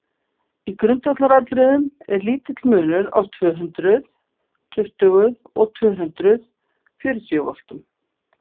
í grundvallaratriðum er lítill munur á tvö hundruð tuttugu og tvö hundruð fjörutíu voltum